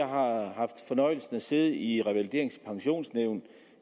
har haft fornøjelsen af at sidde i revaliderings og pensionsnævn